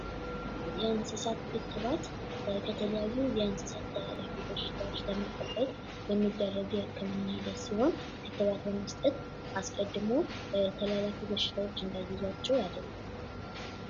የእንስሳት ክትባት ከተለያዩ የእንስሳት ተላላፊ በሽታዎች ለመጠበቅ የሚደርግ የክትባት ሂደት ሲሆን ክትባት በመስጠት አስቀድሞ ተላላፊ በሽታዎች እንዳይዟቸዉ ያደርጋል።